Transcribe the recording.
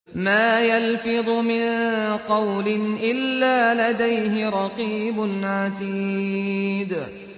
مَّا يَلْفِظُ مِن قَوْلٍ إِلَّا لَدَيْهِ رَقِيبٌ عَتِيدٌ